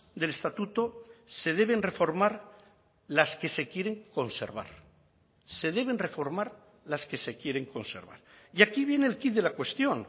del estatuto se deben reformar las que se quieren conservar se deben reformar las que se quieren conservar y aquí viene el quid de la cuestión